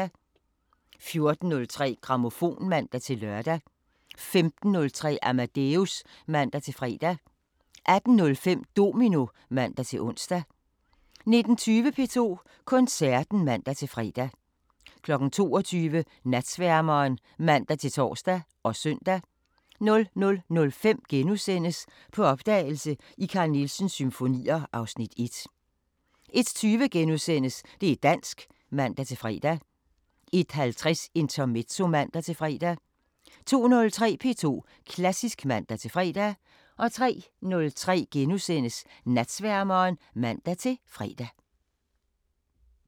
14:03: Grammofon (man-lør) 15:03: Amadeus (man-fre) 18:05: Domino (man-ons) 19:20: P2 Koncerten (man-fre) 22:00: Natsværmeren (man-tor og søn) 00:05: På opdagelse i Carl Nielsens symfonier (Afs. 1)* 01:20: Det' dansk *(man-fre) 01:50: Intermezzo (man-fre) 02:03: P2 Klassisk (man-fre) 03:03: Natsværmeren *(man-fre)